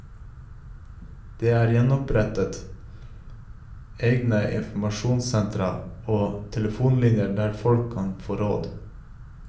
Det er opprettet egne informasjonssentra og telefonlinjer der folk kan få råd.